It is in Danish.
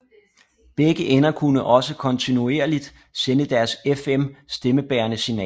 Begge ender kunne også kontinuerligt sende deres FM stemmebærende signaler